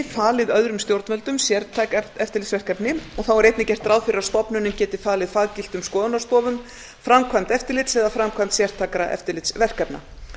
falið öðrum stjórnvöldum sértæk eftirlitsverkefni þá er einnig gert ráð fyrir að stofnunin geti falið faggiltum skoðunarstofum framkvæmd eftirlits eða framkvæmd sértækra eftirlitsverkefna